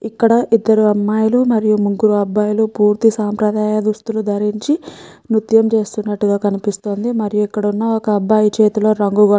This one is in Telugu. ఇక్కడ ఇద్దరు అమ్మాయిలు మరియు ముగ్గురు అబ్బాయిలు పూర్తి సంప్రదాయ దుస్తులు ధరించి మూర్తం చేసినట్టు కనిపిస్తుంది మరియు ఇక్కడ ఉన్న ఒక అబ్బాయి చేతులో రంగి ర --